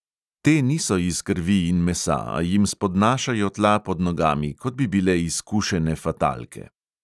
Te niso iz krvi in mesa, a jim spodnašajo tla pod nogami, kot bi bile izkušene fatalke.